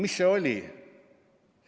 Mis see ikkagi oli?